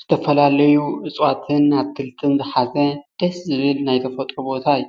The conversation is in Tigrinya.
ዝተፈላለዩ እፅዋትን ኣትክልትን ዝሓዘ ደስ ዝብል ናይ ተፈጥሮ ቦታ እዩ፡፡